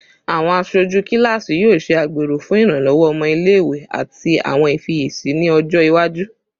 Awọn aṣoju kilasi yoo ṣe agbero fun iranlọwọ ọmọ ile-iwe ati awọn ifiyesi ni ọjọ iwaju